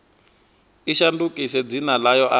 i shandukise dzina ḽayo arali